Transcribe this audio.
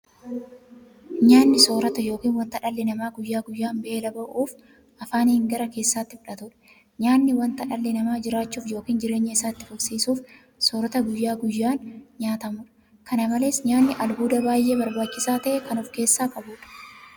Nyaanni soorota yookiin wanta dhalli namaa guyyaa guyyaan beela ba'uuf afaaniin gara keessaatti fudhatudha. Nyaanni wanta dhalli namaa jiraachuuf yookiin jireenya isaa itti fufsiisuuf soorata guyyaa guyyaan nyaatamudha. Kana malees nyaanni albuuda baay'ee barbaachisaa ta'e kan ofkeessaa qabudha.